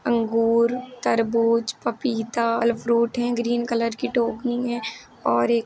अंगूरतरबूजपपीता फल फ्रूट हैं green colour की टोकनी है और एक--